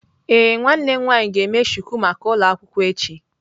Ee, nwanne m nwanyi ga eme shuku maka ulo akwukwo echi.